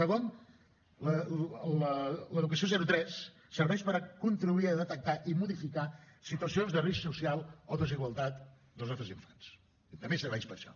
segon l’educació zero tres serveix per contribuir a detectar i modificar situacions de risc social o desigualtat dels nostres infants també serveix per això